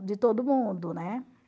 de todo mundo, né?